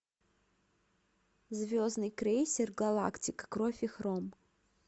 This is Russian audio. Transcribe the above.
звездный крейсер галактика кровь и хром